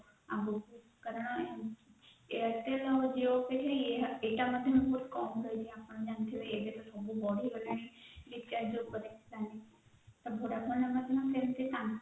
ଆଗକୁ କାରଣ airtel ଆଉ Jio ପାଇଁ ଏଇଟା ମଧ୍ୟ ବହୁତ କମ ପଡୁଛି ଆପଣ ଜାଣିଥିବେ recharge ଉପରେ planning